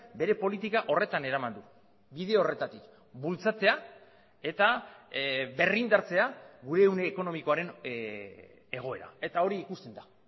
bere politika horretan eraman du bide horretatik bultzatzea eta berrindartzea gure ehun ekonomikoaren egoera eta hori ikusten da